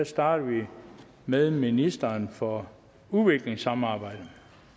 starter vi med ministeren for udviklingssamarbejde